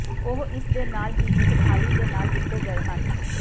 ਉਹ ਇਸ ਦੇ ਨਾਲ ਹੀ ਇੱਕ ਥਾਲੀ ਦੇ ਨਾਲ ਦਿੱਤੇ ਗਏ ਹਨ